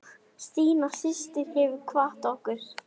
Stína systir hefur kvatt okkur.